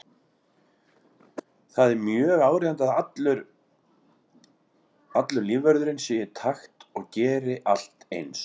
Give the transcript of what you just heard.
Það er mjög áríðandi að allur lífvörðurinn sé í takt og geri allt eins.